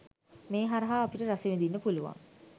මේ හරහා අපිට රස විදින්න පුලුවන්.